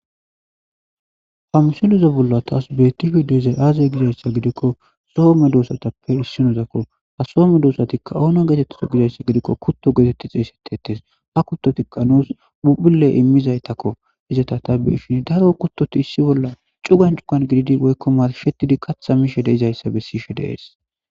hamsiluzo bolla taas betifi deezay aaze gizayssa gidikko soome doosatappe issinozakko ha soome doosatikka oona geetettizo gizayssa gidikko kutto geetetti xeesetetes ha kuttoti qanoos bubule immizaytakko izata tabbeishini daro kuttoti issi bolla cugan cugan gididi woykko mashettidi katha mishe deizayssa bessishe deees